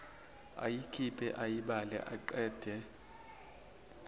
ayikhiphe ayibale aqede